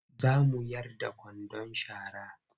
Za mu yar da kwandon sharar.